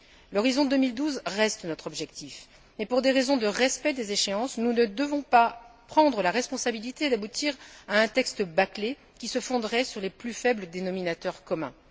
L'horizon 2012 reste notre objectif, mais pour des raisons de respect des échéances, nous ne devons pas prendre la responsabilité d'aboutir à un texte bâclé, qui se fonderait sur les plus faibles dénominateurs communs.